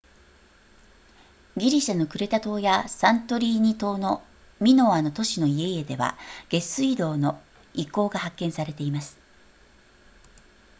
ギリシャのクレタ島やサントリーニ島のミノアの都市の家々では下水道の遺構が発見されています